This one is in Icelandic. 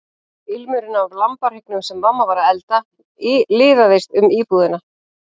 Ilmurinn af lambahryggnum sem mamma var að elda liðaðist um íbúðina.